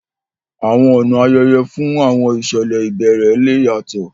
Àwọn ọ̀nà ayẹyẹ fún àwọn ìṣẹ̀lẹ̀ ìbẹ̀rẹ̀ le yàtọ̀